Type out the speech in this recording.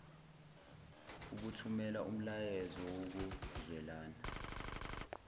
ukuthumela umyalezo wokuzwelana